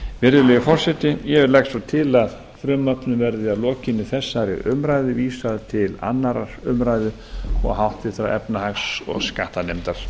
virðulegi forseti ég legg svo til að frumvarpinu verði að lokinni þessari umræðu vísað til annarrar umræðu og háttvirtrar efnahags og skattanefndar